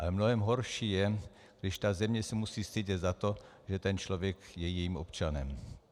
Ale mnohem horší je, když ta země se musí stydět za to, že ten člověk je jejím občanem.